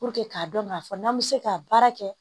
Puruke k'a dɔn k'a fɔ n'an bɛ se ka baara kɛ